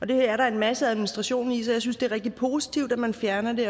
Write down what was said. det er der en masse administration i så jeg synes at det er rigtig positivt at man fjerner det